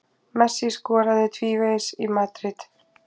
Messi skoraði tvívegis í Madríd